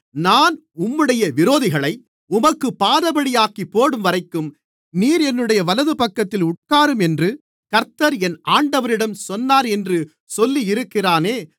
நான் உம்முடைய விரோதிகளை உமக்குப் பாதபடியாக்கிப்போடும்வரைக்கும் நீர் என்னுடைய வலதுபக்கத்தில் உட்காரும் என்று கர்த்தர் என் ஆண்டவரிடம் சொன்னார் என்று சொல்லியிருக்கிறானே